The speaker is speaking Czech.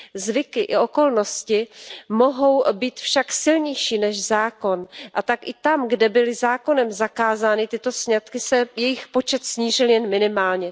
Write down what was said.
Zvyky i okolnosti mohou být však silnější než zákon a tak i tam, kde byly zákonem zakázány tyto sňatky, se jejich počet snížil jen minimálně.